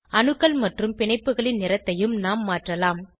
அணுக்கள் மற்றும் பிணைப்புகளின் நிறத்தையும் நாம் மாற்றலாம்